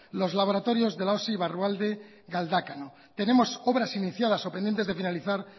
los laboratorios de la osi barrualde galdácano tenemos obras iniciadas o pendientes de finalizar